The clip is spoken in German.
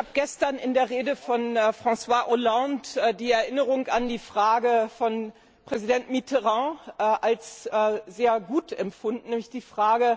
Ich habe gestern in der Rede von François Hollande die Erinnerung an die Frage von Präsident Mitterand als sehr gut empfunden, nämlich die Frage